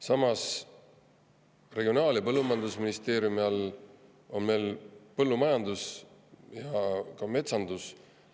Samas, Regionaal- ja Põllumajandusministeeriumi all on meil põllumajandus ja metsandus.